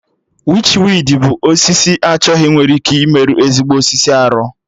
Wichwidi bụ osisi achọghị nwere ike ịmerụ ezigbo osisi arụ